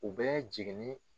U bɛ jigini